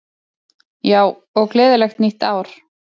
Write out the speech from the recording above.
Já, og gleðilegt nýtt ár!